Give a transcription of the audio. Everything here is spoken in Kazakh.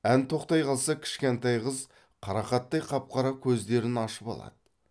ән тоқтай қалса кішкентай қыз қарақаттай қап қара көздерін ашып алады